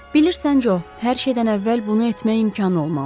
Bilirsən Jo, hər şeydən əvvəl bunu etmək imkanı olmalıdır.